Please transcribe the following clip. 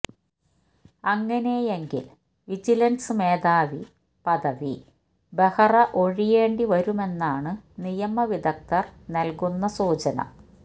അങ്ങനെയെങ്കില് vigilance മേധാവി പദവി ബെഹ്റ ഒഴിയേണ്ടി വരുമെന്നാണ് നിയമ വിദഗ്ധര് നല്കുന്ന സൂചന